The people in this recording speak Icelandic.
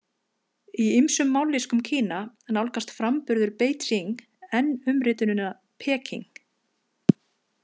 Í ýmsum mállýskum Kína nálgast framburður Beijing enn umritunina Peking.